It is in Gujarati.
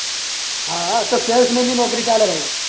હા હા તો salesman ની નોકરી ચાલે ભાઈ